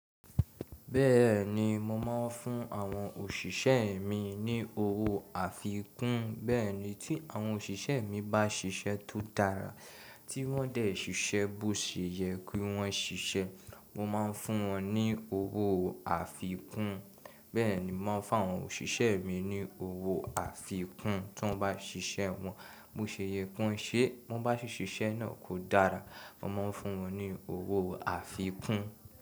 Bẹ́ẹ̀ni, mo máa ń fún àwọn òṣìṣẹ́ mi ní owó àfikún. Bẹ́ẹ̀ ni, tí àwọn òṣìṣẹ́ mi bá ṣiṣẹ́ tó dára, tí wọ́n dẹ̀ ṣiṣẹ́ bó ṣe yẹ kí wọ́n ṣiṣẹ́, mo máa ń fún wọn ní owó àfikún. Bẹ́ẹ̀ ni, mo máa ń fá àwọn òṣìṣẹ́ mi ní owó àfikún tí wọ́n bá ṣiṣẹ́ wọn bó ṣe yẹ kí wọ́n ṣe. Tí wọ́n bá ṣe iṣẹ́ náà kó dára, mo máa ń fún wọn ní owó àfikún.